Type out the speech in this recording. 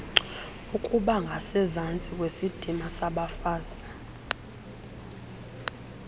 ukubangasezantsi kwesidima sabafazi